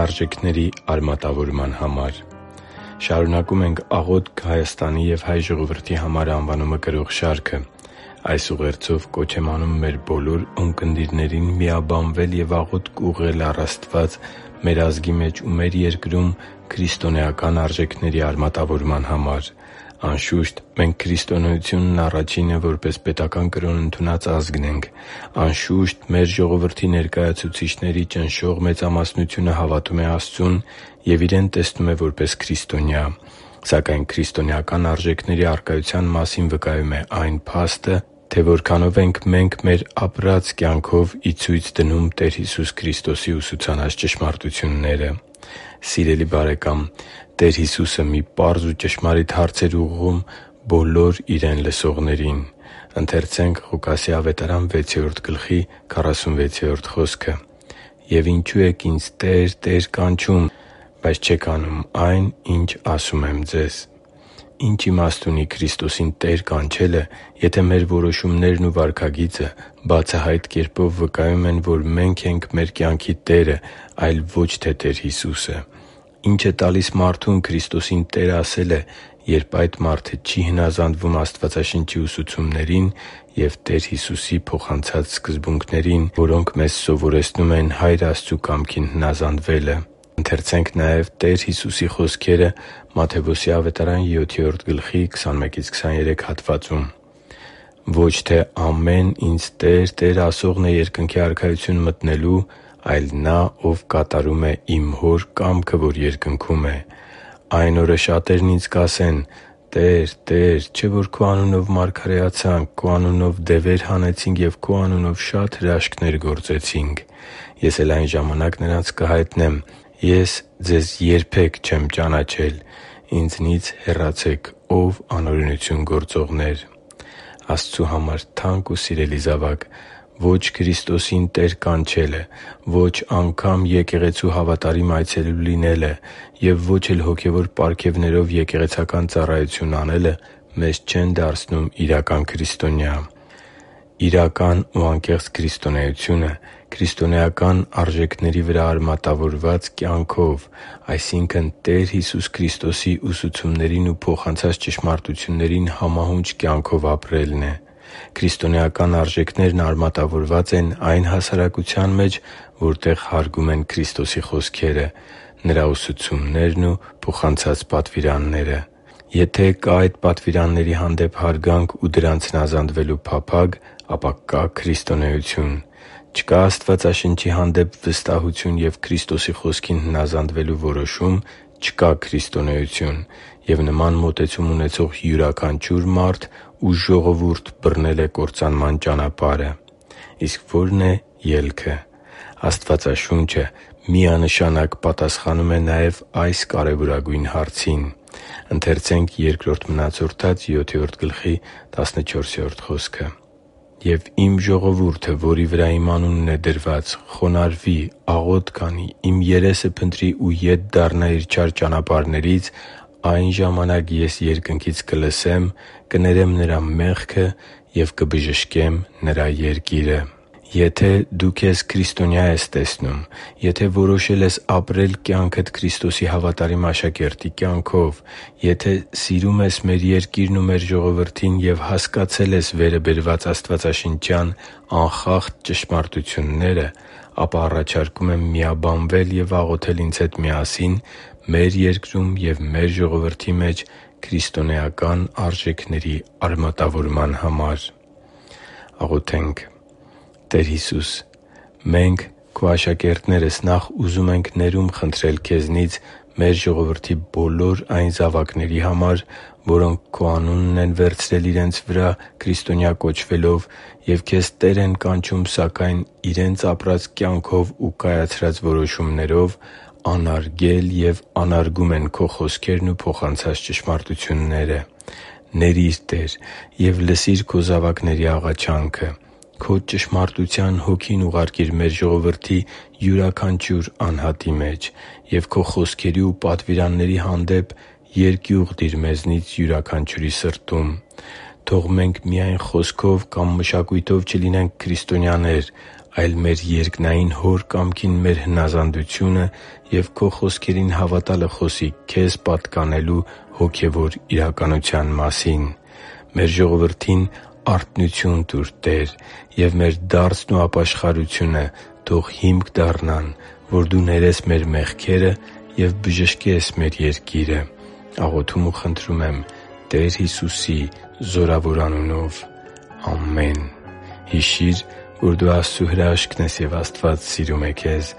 արժեքների արմատավորման համար Շարունակում ենք «Աղոթք Հայաստանի և հայ ժողովրդի համար» անվանումը կրող շարքը։ Այս ուղերձով կոչ եմ անում մեր բոլոր ունկնդիրներին միաբանվել և աղոթք ուղղել առ Աստված մեր ազգի մեջ ու մեր երկրում քրիստոնեական արժեքների արմատավորման համար։ Անշուշտ, մենք քրիստոնեությունն առաջինը որպես պետական կրոն ընդունած ազգն ենք։ Անշուշտ, մեր ժողովրդի ներկայացուցիչների ճնշող մեծամասնությունը հավատում է Աստծուն և իրեն տեսնում է որպես քրիստոնյա։ Սակայն քրիստոնեական արժեքների առկայության մասին վկայում է այն փաստը, թե որքանո՞վ ենք մենք մեր ապրած կյանքով ի ցույց դնում Տեր Հիսուս Քրիստոսի ուսուցանած ճշմարտությունները․․․ Սիրելի՛ բարեկամ, Տեր Հիսուսը մի պարզ ու ճշմարիտ հարց էր ուղղում բոլոր Իրեն լսողներին․ «Եվ ինչո՞ւ եք Ինձ "Տե՛ր, Տե՛ր" կանչում, բայց չեք անում այն, ինչ ասում եմ» (Ղուկաս 6․46 ՆՎԱԱ): Ի՞նչ իմաստ ունի Քրիստոսին «Տե՛ր» կանչելը, եթե մեր որոշումներն ու վարքագիծը բացահայտ կերպով վկայում են, որ մե՛նք ենք մեր կյանքի տերը, այլ ոչ թե Տեր Հիսուսը։ Ի՞նչ է տալիս մարդուն Քրիստոսին «Տե՛ր» ասելը, երբ այդ մարդը չի հնազանդվում Աստվածաշնչի ուսուցումներին և Տեր Հիսուսի սկզբունքներին, որ մեզ սովորեցնում են Հայր Աստծու կամքին հնազանդվելը։ «Ոչ թե ամեն Ինձ "Տե՛ր, Տե՛ր" ասողն է Երկնքի Արքայություն մտնելու, այլ նա, ով կատարում է Իմ Հոր կամքը, որ երկնքում է։ Այն օրը շատերն Ինձ կասեն. "Տե՛ր, Տե՛ր, չէ՞ որ Քո անունով մարգարեացանք, Քո անունով դևեր հանեցինք և Քո անունով շատ հրաշքներ գործեցինք"։ Ես էլ այն ժամանակ նրանց կհայտնեմ. "Ես ձեզ երբեք չեմ ճանաչել. Ինձանից հեռացե՛ք, ո՛վ անօրենություն գործողներ» (Մատթեոս 7․21-23 ՆՎԱԱ): Աստծու համար թանկ ու սիրելի՛ զավակ, ո՛չ Քրիստոսին «Տե՛ր» կանչելը, ո՛չ անգամ եկեղեցու հավատարիմ այցելու լինելը և ո՛չ էլ հոգևոր պարգևներով եկեղեցական ծառայություն անելը մեզ չեն դարձնում իրական քրիստոնյա։ Իրական ու անկեղծ քրիստոնեությունը՝ քրիստոնեական արժեքների վրա արմատավորված կյանքը Տեր Հիսուս Քրիստոսի ուսուցումներին ու փոխանցած ճշմարտություններին համահունչ կյանք ապրելն է։ Քրիստոնեական արժեքներն արմատավորված են այն հասարակության մեջ, որտեղ հարգում են Քրիստոսի խոսքերը՝ Նրա ուսուցումներն ու պատվիրանները։ Եթե կա այդ պատվիրանների հանդեպ հարգանք ու դրանց հնազանդվելու փափագ, ապա կա՛ քրիստոնեություն։ Չկա՞ Աստվածաշնչի հանդեպ վստահություն և Քրիստոսի խոսքին հնազանդվելու որոշում, չկա՛ քրիստոնեություն, և նման մոտեցում ունեցող յուրաքանչյուր մարդ ու ժողովուրդ բռնել է կործանման ճանապարհը։ Իսկ ո՞րն է ելքը։ Աստվածաշունչը միանշանակ պատասխանում է նաև այս կարևորագույն հարցին․ «․․․և Իմ ժողովուրդը, որի վրա Իմ անունն է դրված, խոնարհվի, աղոթի, Իմ երեսը փնտրի ու ետ դառնա իր չար ճանապարհներից, այն ժամանակ Ես երկնքից կլսեմ, կներեմ նրա մեղքը և կբժշկեմ նրա երկիրը» (Բ Մնացորդաց 7․14 ՆՎԱԱ): Եթե դու քեզ քրիստոնյա ես տեսնում․․․, եթե որոշել ես ապրել կյանքդ Քրիստոսի հավատարիմ աշակերտի կյանքով․․․, եթե սիրում ես մեր երկիրն ու մեր ժողովրդին և հասկացել ես վերը բերված աստվածաշնչյան անխախտ ճշմարտությունները, ապա առաջարկում եմ միաբանվել և աղոթել ինձ հետ միասին մեր երկրում և մեր ժողովրդի մեջ քրիստոնեական արժեքների արմատավորման համար։ «Տեր Հիսո՛ւս, մենք՝ Քո աշակերտներս, նախ ուզում ենք ներում խնդրել Քեզնից մեր ժողովրդի բոլոր այն զավակների համար, որոնք Քո անունն են վերցրել իրենց վրա՝ քրիստոնյա կոչվելով, և Քեզ «Տե՛ր» են կանչում, սակայն իրենց ապրած կյանքով ու կայացրած որոշումներով անարգել և անարգում են Քո խոսքերն ու փոխանցած ճշմարտությունները։ Ների՛ր, Տե՜ր, և լսիր Քո զավակների աղաչանքը։ Քո Ճշմարտության Հոգին ուղարկիր մեր ժողովրդի յուրաքանչյուր անհատի մեջ և Քո խոսքերի ու պատվիրանների հանդեպ երկյուղ դիր մեզնից յուրաքանչյուրի սրտում։ Թո՛ղ մենք միայն խոսքով կամ մշակույթով չլինենք քրիստոնյաներ, այլ մեր երկնային Հոր կամքին մեր հնազանդությունը և Քո խոսքերին հավատալը խոսի Քեզ պատկանելու հոգևոր իրականության մասին։ Մեր ժողովրդին արթնություն տուր, Տե՜ր, և մեր դարձն ու ապաշխարությունը թո՛ղ հիմք դառնան, որ Դու ներես մեր մեղքերը և բժշկես մեր երկիրը։ Աղոթում ու խնդրում ենք Տեր Հիսուսի զորավոր անունով։ Ամեն»։ Հիշի՛ր, որ դու Աստծո հրաշքն ես, և Աստված սիրում է քեզ։